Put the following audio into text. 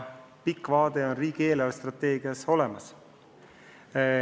Pikk vaade on riigi eelarvestrateegias olemas.